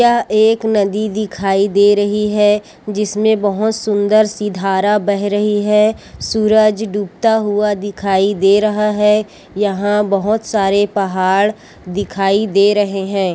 यह एक नदी दिखाई दे रही है जिसमें बहोत सुन्दर सी धारा बह रही है सूरज डूबता हुआ दिखाई दे रहा है यहाँ बहोत सारे पहाड़ दिखाई दे रहे है।